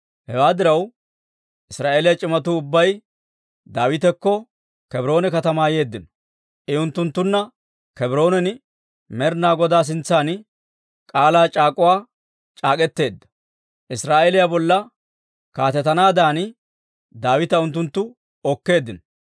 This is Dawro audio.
Hewaa diraw, Israa'eeliyaa c'imatuu ubbay Daawitakko Kebroone katamaa yeeddino; I unttunttunna Kebroonan Med'inaa Goday sintsan k'aalaa c'aak'uwaa c'aak'k'eteedda; Israa'eeliyaa bolla kaatetanaadan Daawita unttunttu okkeeddino.